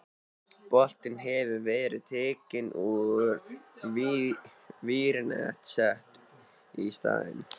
Botninn hefur verið tekinn úr og vírnet sett í staðinn.